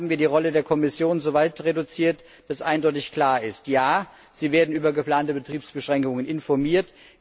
Hier haben wir die Rolle der Kommission so weit reduziert, dass eindeutig klar ist Ja, sie wird über geplante Betriebsbeschränkungen informiert.